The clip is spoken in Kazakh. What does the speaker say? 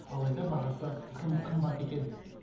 алайда бағасы тым қымбат екен